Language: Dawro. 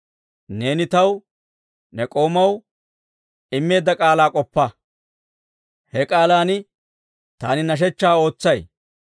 Neeni taw, ne k'oomaw, immeedda k'aalaa k'oppa; he k'aalan taani hidootaa ootsay.